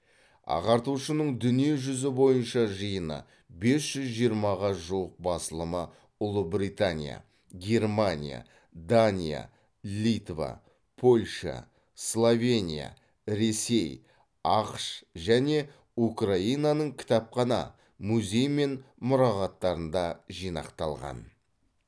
ағартушының дүние жүзі бойынша жиыны бес жүз жиырмаға жуық басылымы ұлыбритания германия дания литва польша словения ресей ақш және украинаның кітапхана музей мен мұрағаттарында жинақталған